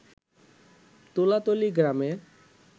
তুলাতলী গ্রামের